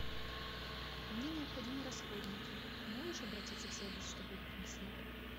мне необходимы расходники можешь обратиться в сервис чтобы их принесли